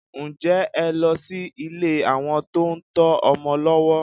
Ǹjẹ́ ẹ lọ sí ilé àwọn tó ń tọ́ ọmọ lọ́wọ́?